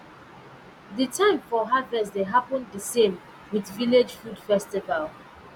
the time for harvest dey happen di same with village food festival